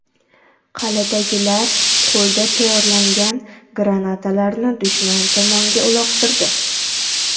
Qal’adagilar qo‘lda tayyorlangan granatalarni dushman tomonga uloqtirdi.